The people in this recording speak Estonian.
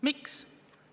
Miks?